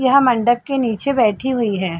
यहाँ मंडप के निचे बैठी हुई हैं।